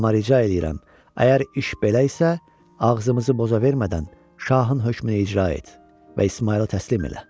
Amma rica eləyirəm, əgər iş belə isə, ağzımızı poza vermədən Şahın hökmünü icra et və İsmayılı təslim elə.